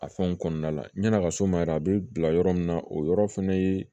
A fɛnw kɔnɔna la yan'a ka so ma yɛrɛ a bɛ bila yɔrɔ min na o yɔrɔ fɛnɛ ye